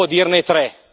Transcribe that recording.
Provo a dirne tre.